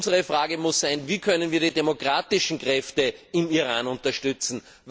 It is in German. Unsere Frage muss sein Wie können wir die demokratischen Kräfte im Iran unterstützen?